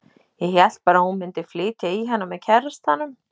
Ég hélt bara að hún mundi flytja í hana með kærastanum.